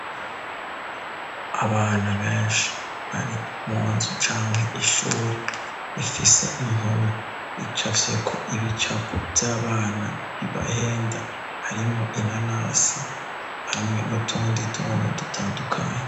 Abana benshi bari mu nzu canke ishuri ifise impume ica fyeko ibicapo vy'abana bibahenda harimo inanase hamwe nutundituntu dutandukanye.